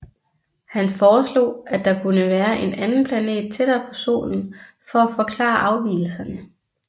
Han foreslog at der kunne være en anden planet tættere på Solen for at forklare afvigelserne